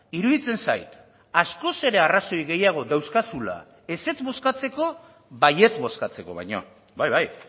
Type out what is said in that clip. iruditzen zait askoz ere arrazoi gehiago dauzkazula ezetz bozkatzeko baietz bozkatzeko baino bai bai